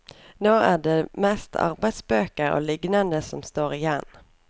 Nå er det mest arbeidsbøker og lignende som står igjen.